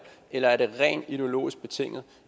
eller er det rent ideologisk betinget